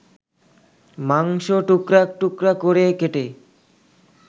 মাংসটুকরা টুকরা করে কেটে